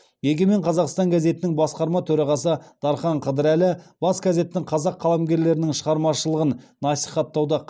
егемен қазақстан газетінің басқарма төрағасы дархан қыдырәлі бас газеттің қазақ қаламгерлерінің шығармашылығын насихаттауда